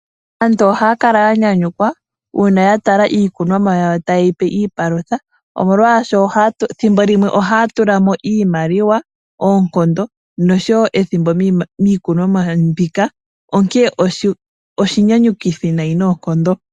Aantu ohaya kala ya nyanyukwa uuna ya tala iikunomwa yawo taye yi pe iipalutha, molwaashoka ethimbo limwe ohaya tula mo iimaliwa, oonkondo, oshowo ethimbo miikunomwa yawo mbika, onkene oshinyanyukithi noonkondo.